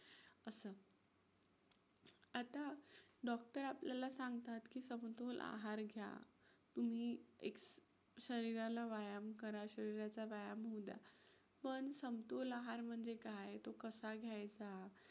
आता doctor आपल्याला सांगतात की समतोल आहार घ्या. तुम्ही एक शरीराला व्यायाम करा, शरीराचा व्यायाम होऊ द्या. पण समतोल आहार म्हणजे काय तो कसा घ्यायचा?